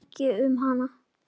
Ég vissi ekki um hana.